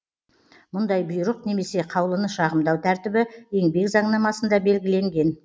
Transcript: мұндай бұйрық немесе қаулыны шағымдау тәртібі еңбек заңнамасында белгіленген